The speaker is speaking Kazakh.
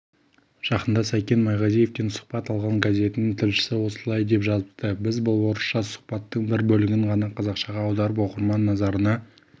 жақында сәкен майғазиевтен сұхбат алған газетінің тілшісі осылай деп жазыпты біз бұл орысша сұхбаттың бір бөлігін ғана қазақшаға аударып оқырман назарына